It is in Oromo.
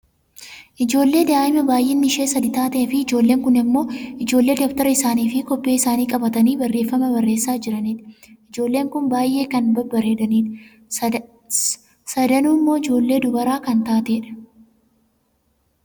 Ijoollee daa'imaa baayyinni ishee sadi taatee fi ijoolleen kun ammoo ijoollee dabtara isaanii fi kobbee isaanii qabatanii barreefama barreesaa jiranidha. Ijoolleen kun baayyee kan babbareeddudha. Sadanuummoo ijoollee dubaraa kan taatedha.